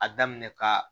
A daminɛ ka